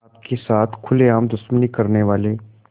आपके साथ खुलेआम दुश्मनी करने वाले